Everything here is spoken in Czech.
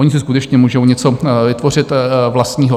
Oni si skutečně můžou něco vytvořit vlastního.